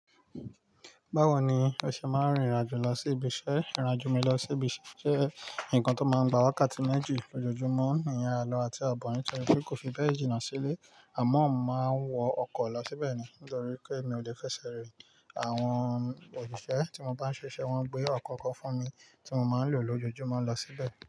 Báwo ni o ṣe máa n rìn ìrin ajo lọ sí ibi iṣẹ́? Ìrin ajo mi lọ sí ibi iṣẹ́ jẹ́ nǹkan tó máa ń gba wákàtí méjì lójoojúmọ́ ìyen aló àti abo nítorí pé kò fi bẹ́ẹ̀ jìnnà sílé àmọ́ mo màá ń wọ ọkọ̀ lọ síbẹ̀ ni nítorí pé mi ò lè fẹsẹ̀ rìn. Àwọn òṣìṣẹ́ tí mo bá ń ṣiṣẹ́ wọn gbé ọkọ̀ kan fún mi tí mo máa ń lò lójoojúmọ́ lọ síbẹ̀